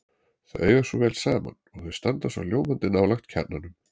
Þau eiga svo vel saman og þau standa svo ljómandi nálægt kjarnanum.